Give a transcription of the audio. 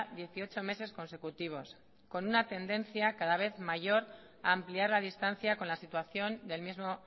dieciocho meses consecutivos con una tendencia cada vez mayor a ampliar la distancia con la situación del mismo